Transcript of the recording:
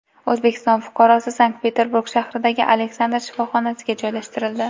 O‘zbekiston fuqarosi Sankt-Peterburg shahridagi Aleksandr shifoxonasiga joylashtirildi.